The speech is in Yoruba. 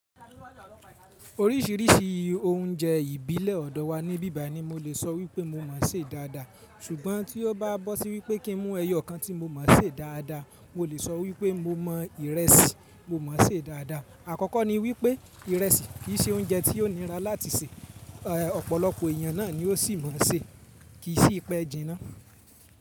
Oríṣìíríṣìí oúnjẹ ìbílẹ̀ ọ̀dọ̀ wa ní bíbà ni mo le è sọ wípé mo mọ̀ọ́ se dáadáa. Sùgbọ́n tí ó bá bọ́ sí wípé kí n mú ẹyọ kan tí mo mọ̀ọ́ se dáadáa, mo le sọ wípé mo mọ ìrẹsì mo mọ̀ọ́ se dáadáa. Àkọ́kọ́ ni wípé ìrẹsì kì í ṣe oúnjẹ tí ó nira láti se, ọ̀pọ̀lọpọ̀ èèyàn náà ni ó sì máa n ṣe, kì í sí ipẹ jiná.